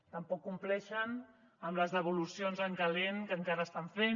tampoc compleixen amb les devolucions en calent que encara estan fent